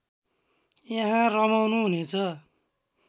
यहाँ रमाउनुहुनेछ